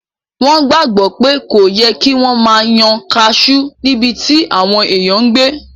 Wọ́n gbàgbọ́ pé kò yẹ kí wọ́n máa yan kaasú níbití àwọn èèyàn n gbé